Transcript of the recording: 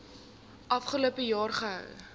afgelope jaar gehou